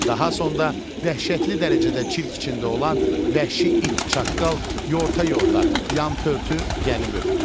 Daha sonda dəhşətli dərəcədə çirk içində olan vəhşi it-çaqqal yorta-yorta, yampörtü gəlib ötdü.